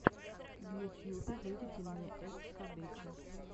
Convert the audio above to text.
в ютьюбе выведи мне эс кабече